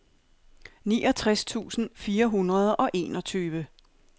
niogtres tusind fire hundrede og enogtyve